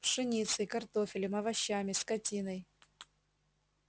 пшеницей картофелем овощами скотиной